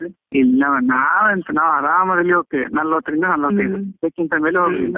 ಇಲ್ಲ ಮರ್ರೆ ನಾವ್ ಎಂತ ನಾವ್ ಅರಮದಲ್ಲಿ ಹೋಗತ್ತೆವೆ, ನಲ್ವತ್ತ್ ರಿಂದ ನಲ್ವತೈದು ಅದ್ಕಿಂಥ ಮೇಲೆ ಹೋಗುದಿಲ್ಲ.